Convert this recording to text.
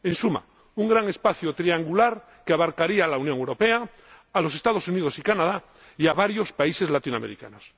En suma, un gran espacio triangular que abarcaría a la Unión Europea, a los Estados Unidos y Canadá y a varios países latinoamericanos.